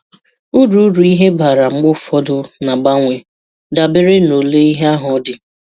Úru Úru ihe bara mgbe ụfọdụ ná-agbanwe, dabere na ole ihe ahụ dị.